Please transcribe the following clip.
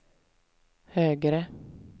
högre